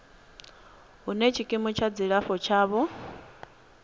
hune tshikimu tsha dzilafho tshavho